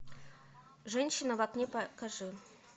женщина в окне покажи